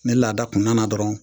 Ni laada kun nana dɔrɔn